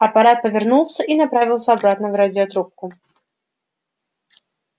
апорат повернулся и направился обратно в радиорубку